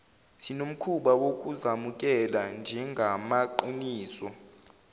sinomkhuba wokuzemukela njengamaqiniso